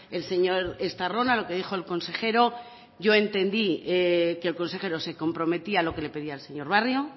el señor estarrona lo que dijo el consejero yo entendí que el consejero se comprometía a lo que le pedía el señor barrio